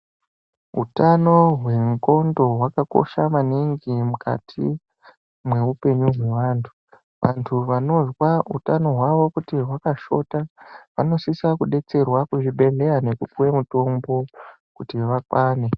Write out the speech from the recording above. Utano hwendxondo hwakakosha maningi mukati meupenyu hwevantu. Vantu vanoza utano hwavo kuti hwakashota vanosisa kubetserwa kuzvibhedhleya nekupuve mutombo kuti vakwane.